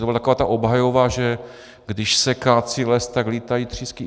To byla taková ta obhajoba, že když se kácí les, tak létají třísky.